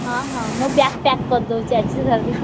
ହଁ ହଁ ମୁଁ bag pack କରିଦଉଚି ଆଜି ଠାରୁ।